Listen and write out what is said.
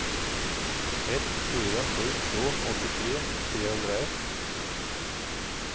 ett fyra sju två åttiotre trehundraett